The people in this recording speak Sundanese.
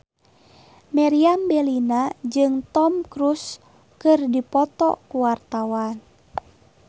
Meriam Bellina jeung Tom Cruise keur dipoto ku wartawan